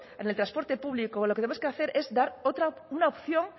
en el transporte público lo que tenemos que hacer es dar otra una opción